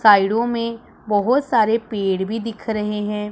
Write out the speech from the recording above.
साइडों मे बहोत सारे पेड़ भी दिख रहे है।